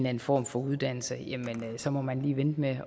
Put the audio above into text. anden form for uddannelse så må man lige vente med